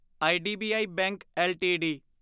IDBI bank LTD